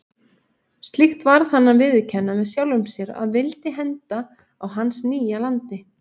Slíkt varð hann að viðurkenna með sjálfum sér að vildi henda á hans nýja landi.